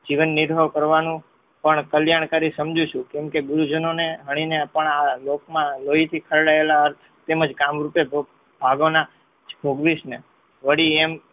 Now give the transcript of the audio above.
જીવનનિર્વહ કરવાનું પણ કલ્યાણકારી સમજુ છું. કેમ કે ગુરુજનોને હણીને પણ આ લોકમાં લોહીથી ખરડાયેલા તેમજ કામરૂપે ભાગોના ભોગવીશને વળી એમ